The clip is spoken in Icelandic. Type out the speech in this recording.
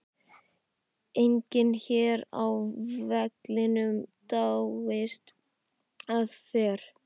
Enginn hér á vellinum dáist að þér.